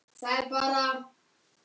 Það er bara.